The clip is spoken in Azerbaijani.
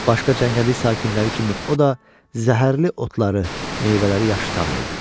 Başqa cəngəllik sakinləri kimi o da zəhərli otları, meyvələri yaxşı tanıyırdı.